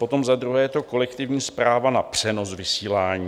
Potom za druhé je to kolektivní správa na přenos vysílání.